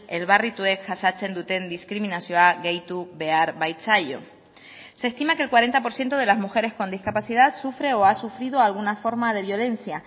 elbarrituek jasaten duten diskriminazioa gehitu behar baitzaio se estima que el cuarenta por ciento de las mujeres con discapacidad sufre o ha sufrido alguna forma de violencia